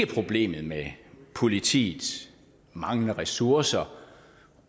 problemet med politiets manglende ressourcer